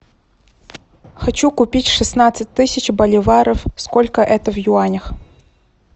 хочу купить шестнадцать тысяч боливаров сколько это в юанях